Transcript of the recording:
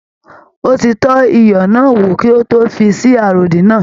Ó ti tọ́ iyọ̀ náà wò kí ó tó fi sí àròdín náà.